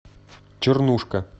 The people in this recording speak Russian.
чернушка